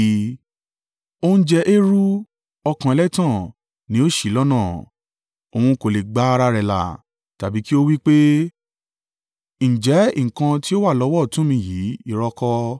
Ó ń jẹ eérú, ọkàn ẹlẹ́tàn ni ó ṣì í lọ́nà; òun kò lè gba ara rẹ̀ là, tàbí kí ó wí pé, “Ǹjẹ́ nǹkan tí ó wà lọ́wọ́ ọ̀tún mi yìí irọ́ kọ́?”